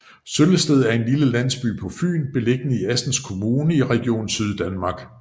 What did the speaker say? Søllested er en lille landsby på Fyn beliggende i Assens Kommune i Region Syddanmark